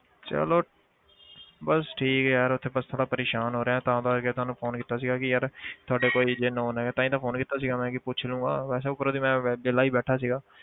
ਚਲੋ ਬਸ ਠੀਕ ਹੈ ਯਾਰ ਇੱਥੇ ਬਸ ਥੋੜ੍ਹਾ ਪਰੇਸਾਨ ਹੋ ਰਿਹਾਂ ਤਾਂ ਕਰਕੇ ਤੁਹਾਨੂੰ phone ਕੀਤਾ ਸੀਗਾ ਕਿ ਯਾਰ ਤੁਹਾਡੇ ਕੋਈ ਜੇ known ਹੈਗਾ ਤਾਂ ਹੀ ਤਾਂ phone ਕੀਤਾ ਸੀਗਾ ਮੈਂ ਕਿ ਪੁੱਛ ਲਊਂਗਾ ਵੈਸੇ ਉਪਰੋਂ ਦੀ ਮੈਂ ਵਿਹਲਾ ਹੀ ਬੈਠਾ ਸੀਗਾ।